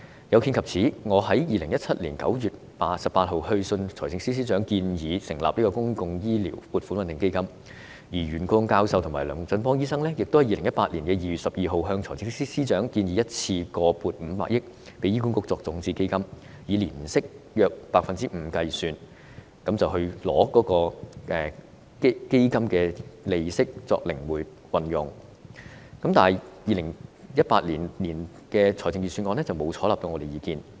有見及此，我在2017年9月18日致函財政司司長，建議成立公共醫療撥款穩定基金，而袁國勇教授及龍振邦醫生亦在2018年2月12日向財政司司長建議，一次性撥款500億元予醫管局作為種子基金，以年息約 5% 計算，並把基金利息靈活運用，但2018年預算案沒有採納我們的意見。